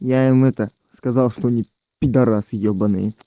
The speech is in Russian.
я им это сказал что они педорасы ебанные